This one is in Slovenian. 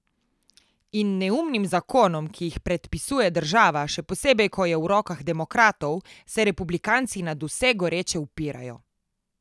In neumnim zakonom, ki jih predpisuje država, še posebej ko je v rokah demokratov, se republikanci nadvse goreče upirajo.